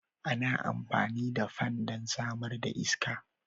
Ana amfani da fan don samar da iska.